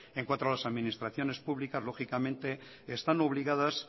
en cuanto a las administraciones públicas lógicamente están obligadas